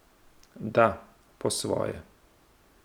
Da, po svoje.